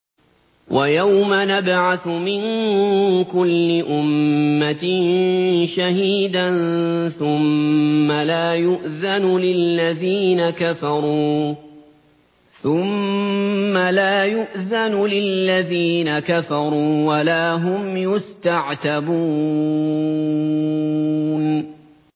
وَيَوْمَ نَبْعَثُ مِن كُلِّ أُمَّةٍ شَهِيدًا ثُمَّ لَا يُؤْذَنُ لِلَّذِينَ كَفَرُوا وَلَا هُمْ يُسْتَعْتَبُونَ